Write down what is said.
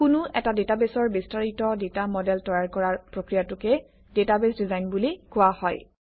কোনো এটা ডাটাবেছৰ বিস্তাৰিত ডাটা মডেল তৈয়াৰ কৰাৰ প্ৰক্ৰিয়াটোক ডাটাবেছ ডিজাইন বুলি কোৱা হয়